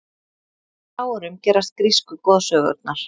á hvaða árum gerast grísku goðsögurnar